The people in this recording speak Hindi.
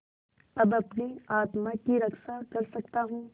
अब अपनी आत्मा की रक्षा कर सकता हूँ